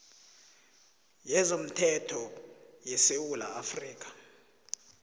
yezomthetho yesewula afrika